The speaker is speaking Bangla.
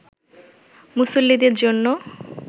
মুসল্লিদের জন্য